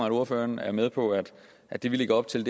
at ordføreren er med på at det vi lægger op til